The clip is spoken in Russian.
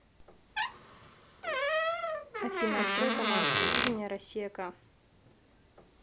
афина открой канал телевидения россия к